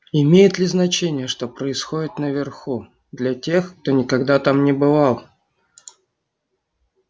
имеет ли значение что происходит наверху для тех кто никогда там не бывал